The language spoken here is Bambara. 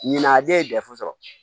Ɲinan a den ye gafe sɔrɔ